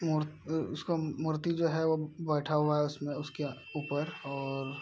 मूर्त अ उसका मूर्ति जो है वो बैठा हुआ है उसमें उसके ऊपर और --